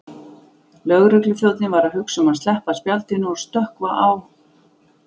Lögregluþjónninn var að hugsa um að sleppa spjaldinu og stökkva á